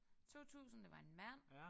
2000 det var en mand